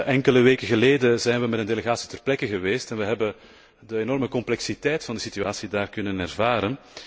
Enkele weken geleden zijn we met een delegatie ter plekke geweest en we hebben de enorme complexiteit van de situatie daar kunnen ervaren.